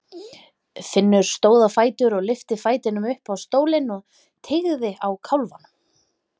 Finnur stóð á fætur og lyfti fætinum upp á stólinn og teygði á kálfanum.